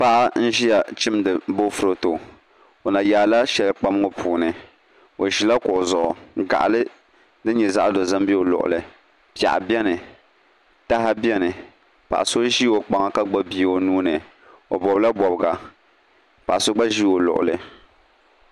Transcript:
Paɣa n ʒiya chimdi boofurooto o na yaala shɛli kpam ŋo puuni o ʒila kuɣu zuɣu ka gaɣali din nyɛ zaɣ dozim bɛ o luɣuli piɛɣu biɛni taha biɛni paɣa so ʒi o kpaŋa ka gbubi bia o nuuni o bobla bobga paɣa so gba ʒi o luɣuli